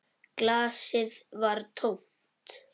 Glasið var tómt.